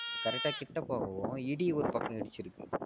correct ஆஹ் கிட்ட போகவும் இடி ஒரு பக்கம் இடிச்சிருக்கு